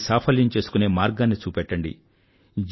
దానికి సాఫల్యం చేసుకునే మార్గాన్ని చూపెట్టండి